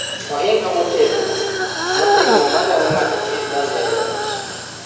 Ohinga motegno motegno ma geng'o ng'ato kik donj ei ot